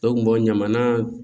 Dɔw kun bɔ ɲamana